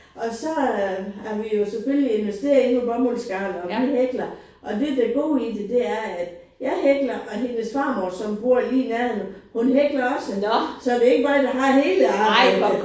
Og så er har vi jo selvfølgelig investeret i noget bomuldsgarn og vi hækler. Det der er det gode i det er at jeg hækler og hendes farmor som bor lige i nærheden hun hækler også. Så det er ikke mig der har hele arbejdet